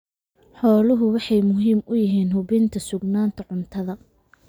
Xooluhu waxay muhiim u yihiin hubinta sugnaanta cuntada.